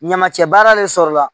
Ɲamacɛra de sɔrɔla